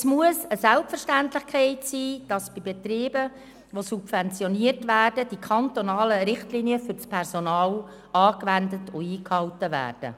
: Es muss eine Selbstverständlichkeit sein, dass die kantonalen Richtlinien für das Personal bei Betrieben, die subventioniert werden, angewandt und eingehalten werden.